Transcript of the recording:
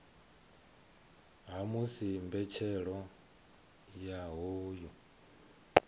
ha musi mbetshelo ya hoyu